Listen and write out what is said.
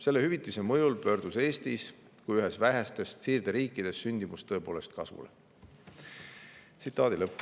Selle hüvitise mõjul pöördus Eestis kui ühes vähestest siirderiikidest sündimus tõepoolest kasvule.